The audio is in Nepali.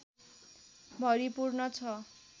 भरिपूर्ण छ